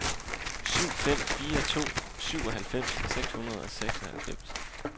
syv fem fire to syvoghalvfems seks hundrede og seksoghalvfems